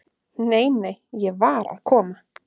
"""Nei, nei, ég var að koma."""